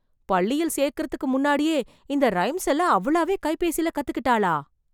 பள்ளியில் சேர்க்கறதுக்கு முன்னாடியே, இந்த ரைம்ஸ் எல்லாம் அவளாவே கைபேசில கத்துக்கிட்டாளா...